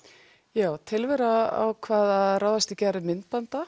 já tilvera ákvað að ráðast í gerð myndbanda